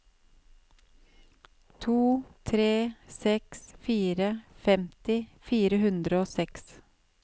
to tre seks fire femti fire hundre og seks